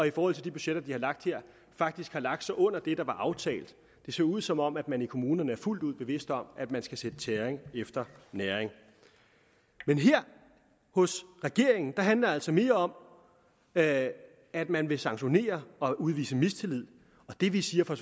i forhold til de budgetter de har lagt her faktisk har lagt sig under det der var aftalt det ser ud som om man i kommunerne er fuldt ud bevidste om at man skal sætte tæring efter næring men hos regeringen handler det altså mere om at at man vil sanktionere og udvise mistillid det vi siger fra